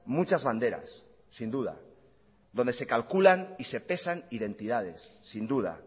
muchas banderas sin duda donde se calculan y se pesan identidades sin duda